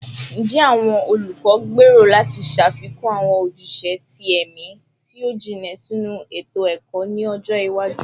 Njẹ awọn olukọ gbero lati ṣafikun awọn ojuse ti ẹmi ti o jinlẹ sinu eto-ẹkọ ni ọjọ iwaju?